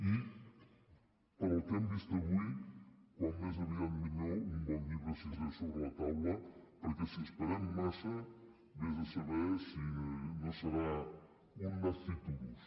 i pel que hem vist avui com més aviat millor un bon llibre sisè sobre la taula perquè si esperem massa vés a saber si no serà un nasciturus